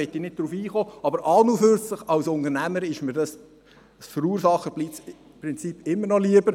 Darauf möchte ich nicht eingehen, aber an und für sich, als Unternehmer, ist mir das Verursacherprinzip immer noch lieber.